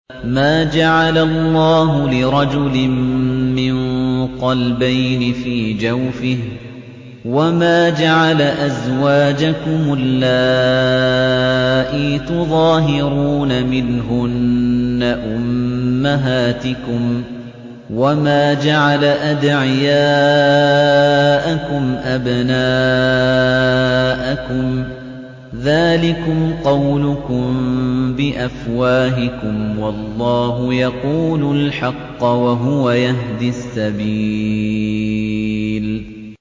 مَّا جَعَلَ اللَّهُ لِرَجُلٍ مِّن قَلْبَيْنِ فِي جَوْفِهِ ۚ وَمَا جَعَلَ أَزْوَاجَكُمُ اللَّائِي تُظَاهِرُونَ مِنْهُنَّ أُمَّهَاتِكُمْ ۚ وَمَا جَعَلَ أَدْعِيَاءَكُمْ أَبْنَاءَكُمْ ۚ ذَٰلِكُمْ قَوْلُكُم بِأَفْوَاهِكُمْ ۖ وَاللَّهُ يَقُولُ الْحَقَّ وَهُوَ يَهْدِي السَّبِيلَ